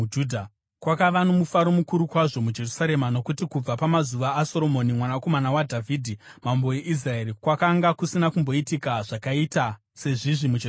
Kwakava nomufaro mukuru kwazvo muJerusarema, nokuti kubva pamazuva aSoromoni mwanakomana waDhavhidhi mambo weIsraeri kwakanga kusina kumboitika zvakaita sezvizvi muJerusarema.